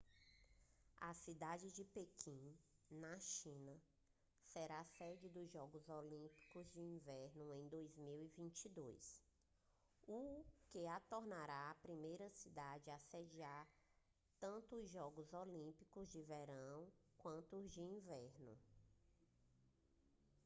a cidade de pequim na china será a sede dos jogos olímpicos de inverno em 2022 o que a tornará a primeira cidade a sediar tanto os jogos olímpicos de verão quanto os de inverno